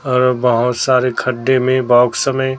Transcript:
और बहुत सारे खड्डे में बॉक्स में--